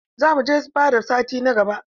Za mu je fada sati na gaba.